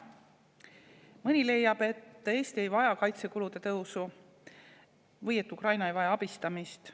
Mõni leiab, et Eesti ei vaja kaitsekulude tõusu või Ukraina ei vaja abistamist.